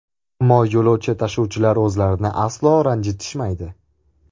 Ammo yo‘lovchi tashuvchilar o‘zlarini aslo ranjitishmaydi.